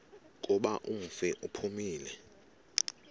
kuba umfi uphumile